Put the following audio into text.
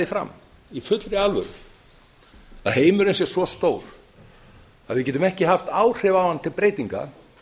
því fram í fullri alvöru að heimurinn sé svo stór að við getum ekki haft áhrif á hann til breytinga